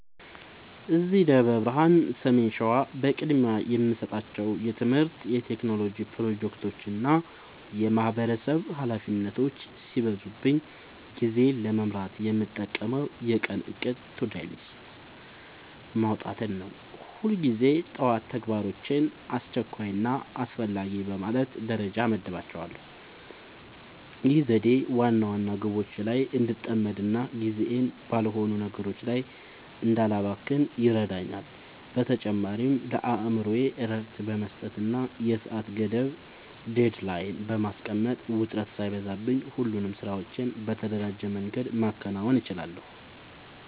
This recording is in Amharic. እዚህ ደብረ ብርሃን (ሰሜን ሸዋ) በቅድሚያ የምሰጣቸው የትምህርት፣ የቴክኖሎጂ ፕሮጀክቶችና የማህበረሰብ ኃላፊነቶች ሲበዙብኝ ጊዜዬን ለመምራት የምጠቀመው የቀን እቅድ (To-Do List) ማውጣትን ነው። ሁልጊዜ ጠዋት ተግባራቶቼን አስቸኳይና አስፈላጊ በማለት ደረጃ እመድባቸዋለሁ። ይህ ዘዴ ዋና ዋና ግቦቼ ላይ እንድጠመድና ጊዜዬን ባልሆኑ ነገሮች ላይ እንዳላባክን ይረዳኛል። በተጨማሪም ለአእምሮዬ እረፍት በመስጠትና የሰዓት ገደብ (Deadline) በማስቀመጥ፣ ውጥረት ሳይበዛብኝ ሁሉንም ስራዎቼን በተደራጀ መንገድ ማከናወን እችላለሁ።